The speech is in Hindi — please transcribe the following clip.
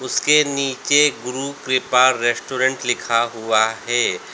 उसके नीचे गुरु कृपा रेस्टोरेंट लिखा हुआ है।